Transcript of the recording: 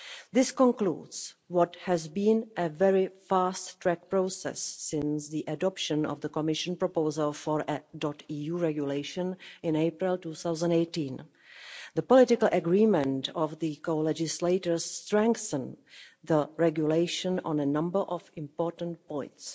This concludes what has been a very fast-track process since the adoption of the Commission proposal for a .eu regulation in April 2018. The political agreement of the co-legislators strengthens the regulation on a number of important points.